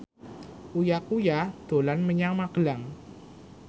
Uya Kuya dolan menyang Magelang